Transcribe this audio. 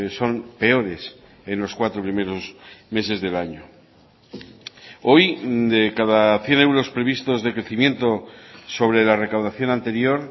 son peores en los cuatro primeros meses del año hoy de cada cien euros previstos de crecimiento sobre la recaudación anterior